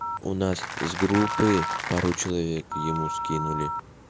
у нас с группы пару человек ему скинули